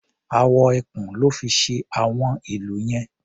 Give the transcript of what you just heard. Awọ ẹkùn lọ́ fi ṣe àwọn ìlù yẹn.